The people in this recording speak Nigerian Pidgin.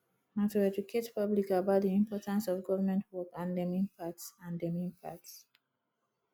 na to educate public about di importance of government work and dem impacts and dem impacts